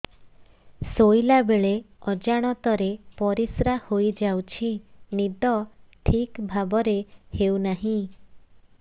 ଶୋଇଲା ବେଳେ ଅଜାଣତରେ ପରିସ୍ରା ହୋଇଯାଉଛି ନିଦ ଠିକ ଭାବରେ ହେଉ ନାହିଁ